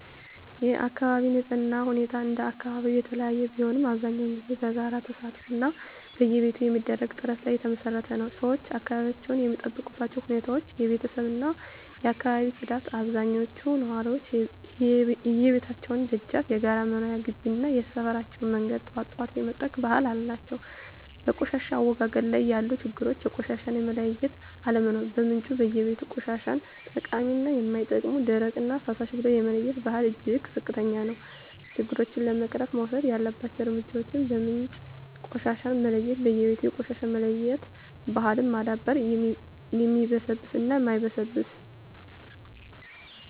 የአካባቢ ንፅህና ሁኔታ እንደየአካባቢው የተለያየ ቢሆንም፣ አብዛኛውን ጊዜ በጋራ ተሳትፎ እና በየቤቱ በሚደረግ ጥረት ላይ የተመሰረተ ነው። -ሰዎች አካባቢያቸውን የሚጠብቁባቸው ሁኔታዎች -የቤተሰብ እና የአካባቢ ፅዳት አብዛኞቹ ነዋሪዎች የየቤታቸውን ደጃፍ፣ የጋራ መኖሪያ ግቢ እና የሰፈራቸውን መንገድ ጠዋት ጠዋት የመጥረግ ባህል አላቸው። -በቆሻሻ አወጋገድ ላይ ያሉ ችግሮች -የቆሻሻ መለያየት አለመኖር በምንጩ (በየቤቱ) ቆሻሻን ጠቃሚ እና የማይጠቅም፣ ደረቅ እና ፍሳሽ ብሎ የመለየት ባህል እጅግ ዝቅተኛ ነው። -ችግሮቹን ለመቅረፍ መወሰድ ያለባቸው እርምጃዎች -በምንጭ ቆሻሻን መለየት በየቤቱ የቆሻሻ መለያየት ባህልን ማዳበር (የሚበሰብስ እና የማይበሰብስ)።